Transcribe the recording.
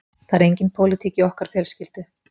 Það er engin pólitík í okkar fjölskyldu